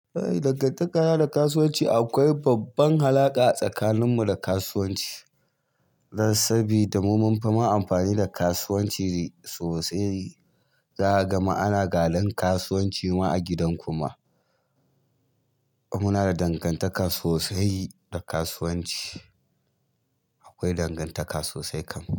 Dangantaka na da kasuwanci akwai kyakkyawar alaƙa tsakanin mu da kasuwanci dan sabida mu, mun fi ma amfani da kasuwanci sosai, za aga ma ana gadon kasuwanci ma a gidan ku ma. Muna da dangantaka sosai da kasuwanci. Akwai dangantaka sosai kam.